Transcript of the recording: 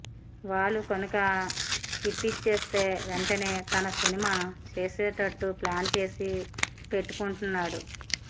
వాళ్లు కనుక హిట్టిచ్చేస్తే వెంటనే తన సినిమా చేసేటట్టు ప్లాన్ చేసి పెట్టుకుంటున్నాడు